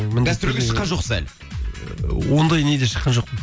гастрольге шыққан жоқсыз әлі ондай неде шыққан жоқпын